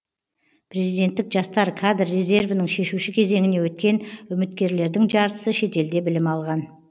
президенттік жастар кадр резервінің шешуші кезеңіне өткен үміткерлердің жартысы шетелде білім алған